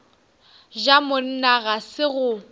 ja monna ga se go